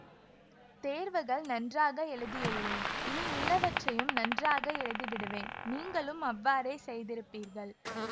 தேர்வுகள் நன்றாக எழுதியுள்ளேன் இனி உள்ளவற்றையும் நன்றாக எழுதிவிடுவேன் நீங்களும் அவ்வாறே செய்திருப்பீர்கள்